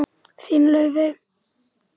Þín, Laufey.